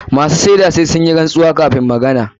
Masu shaida sai sun yi rantsuwa kafun magana.